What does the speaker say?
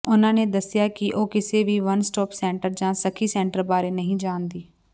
ਉਨ੍ਹਾਂ ਨੇ ਦੱਸਿਆ ਕਿ ਉਹ ਕਿਸੇ ਵਨ ਸਟੌਪ ਸੈਂਟਰ ਜਾਂ ਸਖੀ ਸੈਂਟਰ ਬਾਰੇ ਨਹੀਂ ਜਾਣਦੀ